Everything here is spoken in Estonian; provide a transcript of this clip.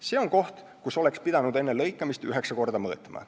See on koht, kus oleks pidanud enne lõikamist üheksa korda mõõtma.